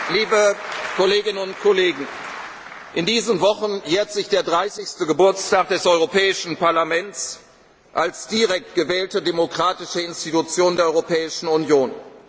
in Prag. Liebe Kolleginnen und Kollegen, in diesen Wochen jährt sich der dreißigste Geburtstag des Europäischen Parlaments als direkt gewählte demokratische Institution der Europäischen